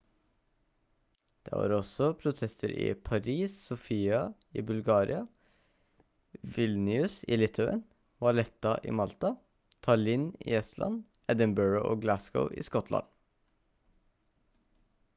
det var også protester i paris sofia i bulgaria vilnius i litauen valetta i malta tallinn i estland edinburgh og glasgow i skottland